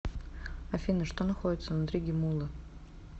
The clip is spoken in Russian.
афина что находится внутри геммулы